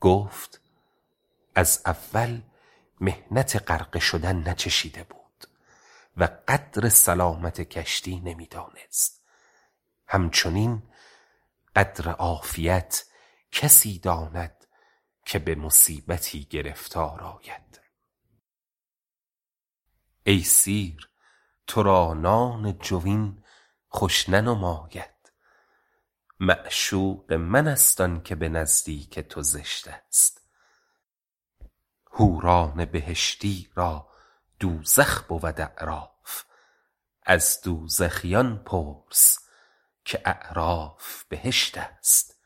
گفت از اول محنت غرقه شدن ناچشیده بود و قدر سلامت کشتی نمی دانست همچنین قدر عافیت کسی داند که به مصیبتی گرفتار آید ای سیر تو را نان جوین خوش ننماید معشوق من است آن که به نزدیک تو زشت است حوران بهشتی را دوزخ بود اعراف از دوزخیان پرس که اعراف بهشت است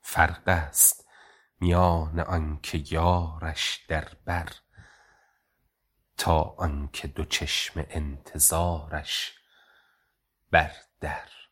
فرق است میان آن که یارش در بر تا آن که دو چشم انتظارش بر در